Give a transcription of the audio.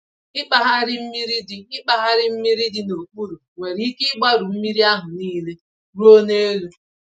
Ịkpagharị mmiri dị Ịkpagharị mmiri dị n'okpuru nwere ike ịgbarụ mmírí ahụ nile ruo n'elu.